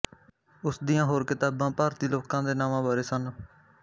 ਉਸ ਦੀਆਂ ਹੋਰ ਕਿਤਾਬਾਂ ਭਾਰਤੀ ਲੋਕਾਂ ਦੇ ਨਾਵਾਂ ਬਾਰੇ ਸਨ